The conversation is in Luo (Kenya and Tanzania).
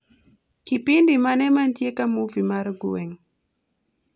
Kipindi mane mantie ka movie mar gweng'?